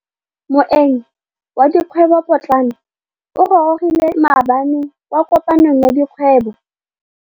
Moêng wa dikgwêbô pôtlana o gorogile maabane kwa kopanong ya dikgwêbô.